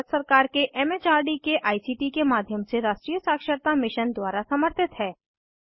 यह भारत सरकार के एम एच आर डी के आई सी टी के माध्यम से राष्ट्रीय साक्षरता मिशन द्वारा समर्थित है